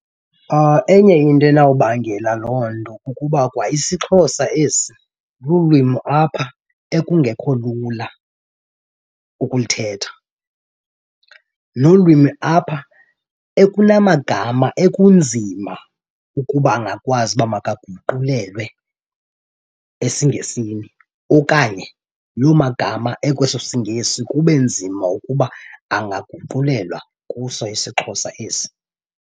Enye into enawubangela loo nto kukuba kwa isiXhosa esi lulwimi apha ekungekho lula ukulithetha nolwimi apha ekunamagama ekunzima ukuba angakwazi uba makaguqulelwe esiNgesini. Okanye loo magama ekweso siNgesi kube nzima ukuba angaguqulelwa kuso isiXhosa esi.